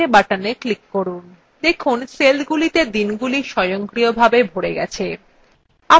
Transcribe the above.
দেখুন সেলগুলিতে দিনগুলি স্বয়ংক্রিয়ভাবে ভরে গেছে